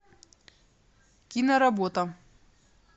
киноработа